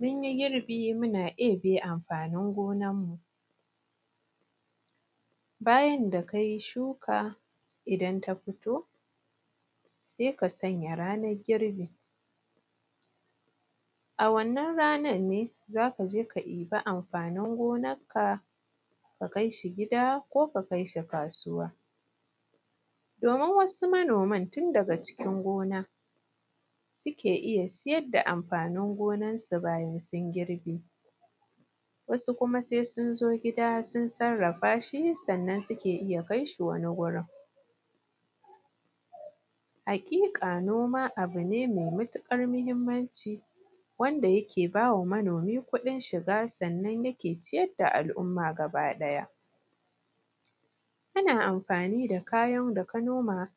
mun yi girbi muna ɗebe amfanin gonan mu bayan da kai shuka idan ta fito sai ka sanya ranan girbi a wannan ranan ne zaka je ka ɗiba amfanin gonan ka ka kai shi gida ko ka kai shi kasuwa domin wasu manoman tun daga cikin gona suke iya siyar da amfanin gonan su bayan sun girbe wasu kuma sai sun zo gida sun sarrafa shi sannan suke iya kai shi wani gurin haƙiƙa noma abu ne mai matuƙar muhimmanci wanda yake bawa manomi kuɗin shiga sannan yake ciyar da al’umma gaba ɗaya kana amfani da kayan da ka noma